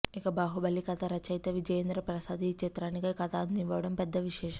ఇక బాహుబలి కథా రచయిత విజయేంద్ర ప్రసాద్ ఈ చిత్రానికి కథ అందివ్వడం పెద్ద విశేషం